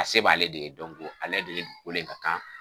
A se b' ale de ye dɔnko ale de ye dugukoli in ka kan